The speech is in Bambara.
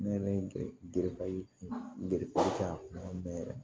Ne yɛrɛ ye kɛ yan yɛrɛ